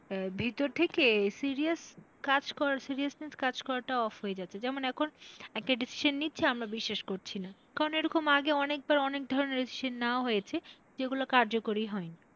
আহ ভিতর থেকে serious কাজ করা seriousness কাজ করাটা off হয়ে যাচ্ছে যেমন এখন একটা decision নিচ্ছে আমরা বিশ্বাস করছিনা কারণ এরকম আগে অনেক বার অনেক ধরনের decision নেওয়া হয়েছে যেগুলা কার্যকরী হয়নি।